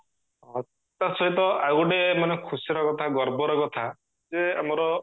ତା ସହିତ ଆଉ ଗୋଟେ ମାନେ ଖୁସି ର କଥା ଗର୍ବ ର କଥା ଯେ ଆମର